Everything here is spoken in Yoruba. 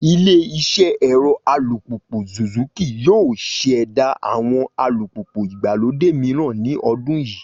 Ilé iṣẹ́ ẹ̀rọ alùpùpù Suzuki yóò ṣẹ̀dá àwọn alùpùpù ìgbàlódé mìíran ní ọdún yìí